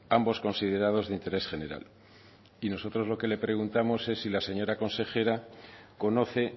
ambos considerados de interés general y nosotros lo que le preguntamos es si la señora consejera conoce